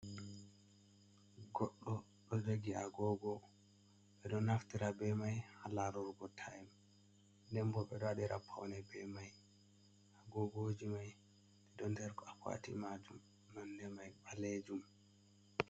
Goddo do jagi a gogoo be do naftira be mai halarurgo taim den bo be do wadira paune be mai a gogoji mai de don der akwati majum nande mai balejum.